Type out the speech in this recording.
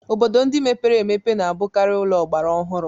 Obodo ndị mepere emepe na-abụkarị ụlọ ọgbara ọhụrụ.